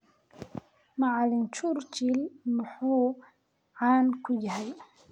macalin Churchill muxuu caan ku yahay?